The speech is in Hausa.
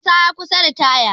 Isa ya kusa ritaya